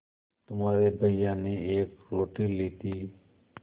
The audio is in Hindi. तुम्हारे भैया ने एक रोटी ली थी